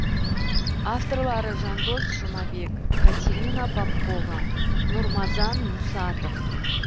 авторлары жандос жұмабек катерина попкова нурмазан мусатов